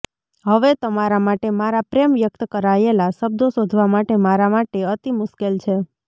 હવે તમારા માટે મારા પ્રેમ વ્યક્ત કરાયેલા શબ્દો શોધવા માટે મારા માટે અતિ મુશ્કેલ છે